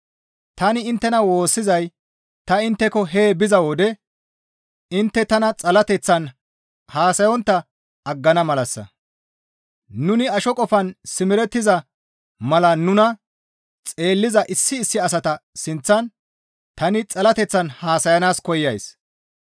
Tani inttena woossizay ta intteko hee biza wode intte tana xalateththan haasayssontta aggana malassa. Nuni asho qofan simerettiza mala nuna xeelliza issi issi asata sinththan tani xalateththan haasayanaas koyays.